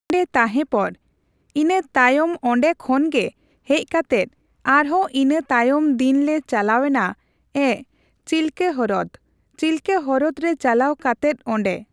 ᱚᱸᱰᱮ ᱛᱟᱦᱮᱸᱯᱚᱨ ᱤᱱᱟᱹ ᱛᱟᱭᱚᱢᱚᱸᱰᱮ ᱠᱷᱚᱱ ᱜᱮ ᱦᱮᱡ ᱠᱟᱛᱮᱫ ᱟᱨᱦᱚ ᱤᱱᱟᱹ ᱛᱟᱭᱚᱢ ᱫᱤᱱ ᱞᱮ ᱪᱟᱞᱟᱣ ᱮᱱᱟ ᱮᱸᱜ ᱪᱤᱞᱠᱟᱦᱨᱚᱫ᱾ ᱪᱤᱞᱠᱟᱦᱨᱚᱫ ᱨᱮ ᱪᱟᱞᱟᱣ ᱠᱟᱛᱮᱫ ᱚᱸᱰᱮ